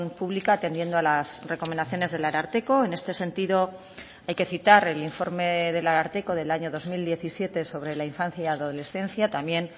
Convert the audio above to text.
pública atendiendo a las recomendaciones del ararteko en este sentido hay que citar el informe del ararteko del año dos mil diecisiete sobre la infancia y adolescencia también